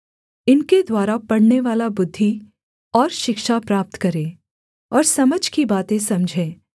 इनके द्वारा पढ़नेवाला बुद्धि और शिक्षा प्राप्त करे और समझ की बातें समझे